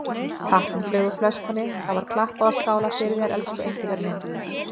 Tappinn flaug úr flöskunni, það var klappað og skálað fyrir þér, elsku Engifer minn.